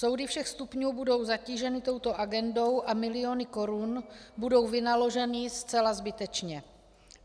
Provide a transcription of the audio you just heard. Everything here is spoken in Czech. Soudy všech stupňů budou zatíženy touto agendou a miliony korun budou vynaloženy zcela zbytečně.